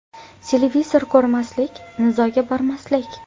Televizor ko‘rmaslik, nizoga bormaslik.